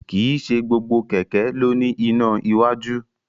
Kìí se gbogbo kẹ̀kẹ́ ló ní iná iwájú